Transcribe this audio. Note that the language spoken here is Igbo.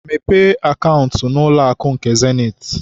Mepee akaụntụ n'ụlọakụ nke Zenith!